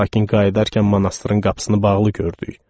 Lakin qayıdarkən monastırın qapısını bağlı gördük.